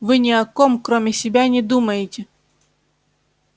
вы ни о ком кроме себя не думаете